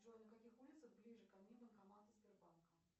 джой на каких улицах ближе ко мне банкоматы сбербанка